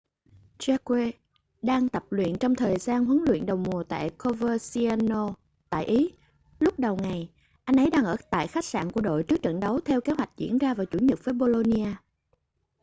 jarque đang tập luyện trong thời gian huấn luyện đầu mùa tại coverciano tại ý lúc đầu ngày anh ấy đang ở tại khách sạn của đội trước trận đấu theo kế hoạch diễn ra vào chủ nhật với bolonia